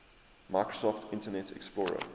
microsoft internet explorer